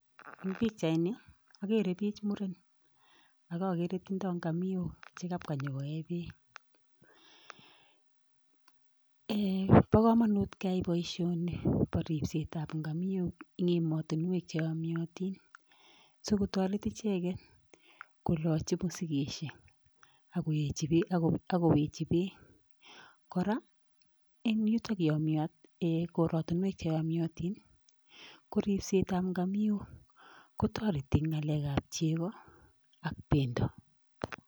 En pichaini agere biik che murenik, ak agree tindoo Ng'amiok chekabwa konyon koe beek, bo komonut keyai boishoni Bo ripsetab ng'amiok eng emotinwek Che yomiotiin sikotoret icheget kolochi mosigisiek ak kolochii beek .Kora en korotinwek Che yomiotiin ko ripsetab ng'amiok kotoretii eng ngalekab chegoo ak bendoo.